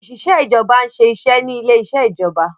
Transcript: Oṣiṣẹ ìjọba n'se iṣé ní ilè iṣe ìjọba